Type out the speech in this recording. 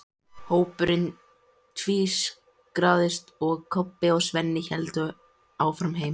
Hópurinn tvístraðist, en Kobbi og Svenni héldu áfram heim.